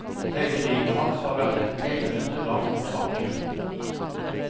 Hele livet hans har vært et eneste langt mirakel.